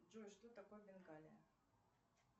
джой что такое бенгалия